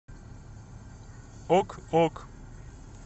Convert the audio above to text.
ок ок